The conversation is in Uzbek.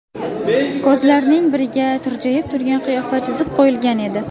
Ko‘zalarning biriga tirjayib turgan qiyofa chizib qo‘yilgan edi.